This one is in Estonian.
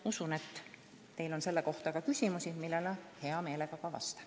Ma usun, et teil on selle kohta ka küsimusi, millele ma hea meelega vastan.